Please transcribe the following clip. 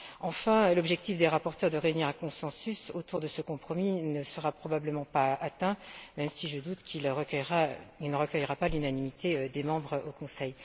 Enfin, l'objectif des rapporteurs de réunir un consensus autour de ce compromis ne sera probablement pas atteint, même si je me doute qu'il ne recueillera pas l'unanimité des membres au Conseil.